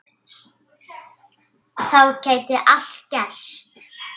Þá gæti allt gerst.